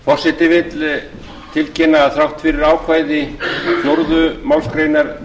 forseti vill tilkynna að þrátt fyrir ákvæði fjórðu málsgreinar